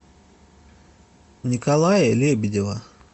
николая лебедева